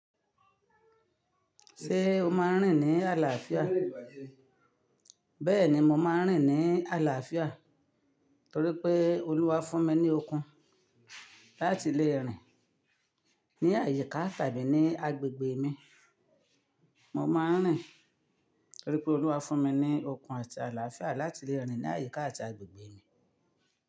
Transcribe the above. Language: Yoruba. Ṣé o máa ń rìn ní àlàáfíà? Bẹ́ẹ̀ni, mo máa ń rìn ní àlàáfíà torí pé Olúwa fún mi ní okun láti le rìn ní àyíká tàbí ní agbègbè mi. Mo máa ń rìn torí pé Olúwa fún mi ní okun àti àlàáfíà láti le rìn ní àyíká àti agbègbè mi.